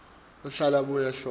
ahlahlele abuye ahlole